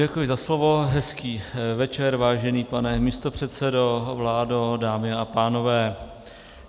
Děkuji za slovo, hezký večer, vážený pane místopředsedo, vládo, dámy a pánové.